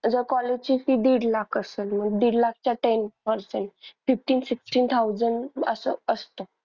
आता college ची fee दीड लाख असल मग दीड लाखच्या ten percent fifteen, sixteen thousand असं असतं.